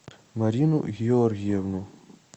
марину георгиевну